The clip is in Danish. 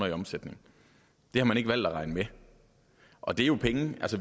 i omsætning det har man ikke valgt at regne med og det er jo penge